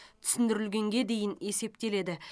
түсіндірілгенге дейін есептеледі